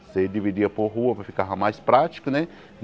Você dividia por rua para ficava mais prático, né?